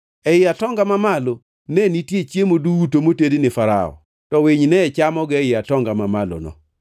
Ei atonga mamalo ne nitie chiemo duto motedi ni Farao, to winy ne chamogi ei atonga mamalono.”